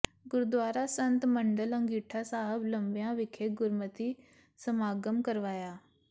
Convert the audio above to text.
ਗੁਰਦੁਆਰਾ ਸੰਤ ਮੰਡਲ ਅੰਗੀਠਾ ਸਾਹਿਬ ਲੰਬਿਆਂ ਵਿਖੇ ਗੁਰਮਤਿ ਸਮਾਗਮ ਕਰਵਾਇਆ